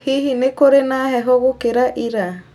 Hihi nĩ kũrĩ na heho gũkĩra ira